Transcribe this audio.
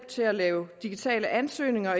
til at lave digitale ansøgninger og